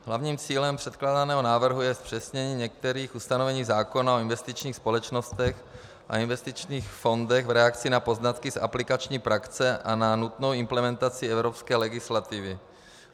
Hlavním cílem předkládaného návrhu je zpřesnění některých ustanovení zákona o investičních společnostech a investičních fondech v reakci na poznatky z aplikační praxe a na nutnou implementaci evropské legislativy.